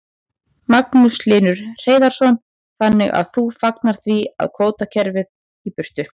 Magnús Hlynur Hreiðarsson: Þannig að þú fagnar því að fá kvótakerfið í burtu?